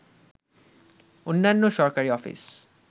অন্যান্য সরকারি অফিস